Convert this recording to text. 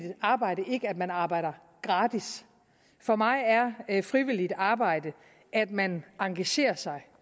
arbejde ikke det at man arbejder gratis for mig er er frivilligt arbejde at man engagerer sig